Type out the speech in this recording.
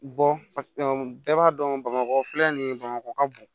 bɛɛ b'a dɔn bamakɔ filɛ nin ye bamakɔ ka bon